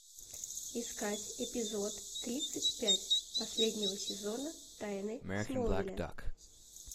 искать эпизод тридцать пять последнего сезона тайны смолвиля